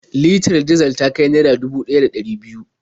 Litar dizal ta kai naira dubu ɗaya da ɗari biyu.